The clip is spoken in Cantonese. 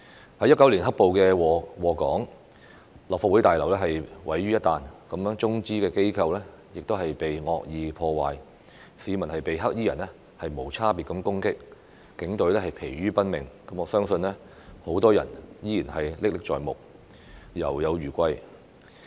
2019年"黑暴"禍港，立法會大樓被毀於一旦，中資機構被惡意破壞，市民被"黑衣人"無差別攻擊，警隊疲於奔命，我相信很多人依然歷歷在目，猶有餘悸。